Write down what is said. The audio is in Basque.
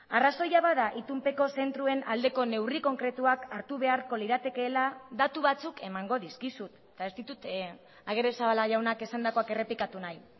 arrazoia bada itunpeko zentroen aldeko neurri konkretuak hartu beharko liratekeela datu batzuk emango dizkizut eta ez ditut agirrezabala jaunak esandakoak errepikatu nahi